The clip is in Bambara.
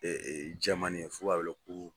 E e jamanen ye f'u b'a wele ko